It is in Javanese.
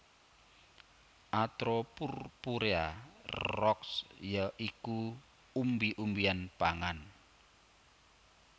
atropurpurea Roxb ya iku umbi umbian pangan